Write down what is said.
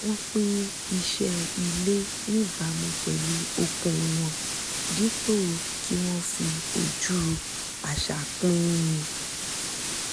wọ́n pín iṣẹ́ ilé níbàámu pẹ̀lú okun wọn dípò kí wọ́n fi ojú àṣà pín in